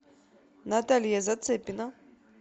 наталья зацепина